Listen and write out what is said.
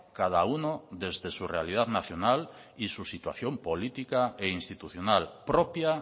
cada uno desde su realidad nacional y su situación política e institucional propia